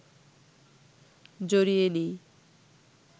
জড়িয়ে নিই